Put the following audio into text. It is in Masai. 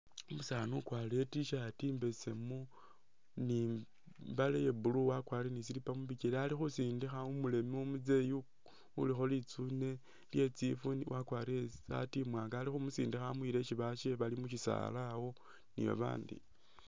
Umusaani ukwarire I'T-shirt imbesemu ni i'mbale ya blue wakwarire ni slipper mu bikele ali khusindikha umuleme umuzeyi ulikho litsune lye tsifwi wakwarire i'saati imwaanga ali khumusindikha amuyila mu syisaala awo isi basye bali.